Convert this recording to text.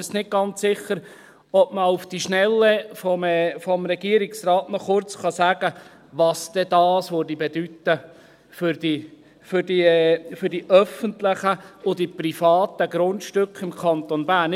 Ich bin mir jetzt nicht ganz sicher, ob man auf die Schnelle vom Regierungsrat noch kurz sagen kann, was das denn bedeuten würde für die öffentlichen und die privaten Grundstücke im Kanton Bern.